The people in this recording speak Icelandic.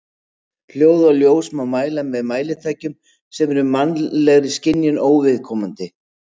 Hljóð og ljós má mæla með mælitækjum sem eru mannlegri skynjun óviðkomandi.